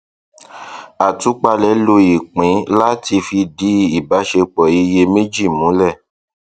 àtúpalẹ lò ipin láti fìdí ìbáṣepọ iye méjì múlẹ